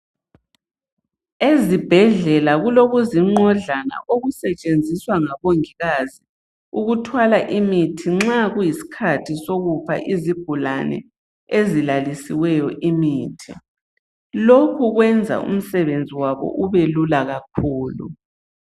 Ezibhedlela kulokuzinqodlana okusetshenziswa ngabongikazi ukuthwala imithi nxa kuyiskhathi sokupha izigulane ezilalisiweyo imithi. Lokhu kwenza umsebenzi wabo ubelula kakhulu.